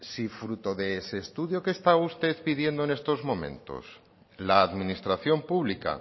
si fruto de este estudio que está usted pidiendo en estos momentos la administración pública